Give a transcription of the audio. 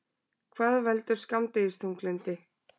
Hvað veldur skammdegisþunglyndi?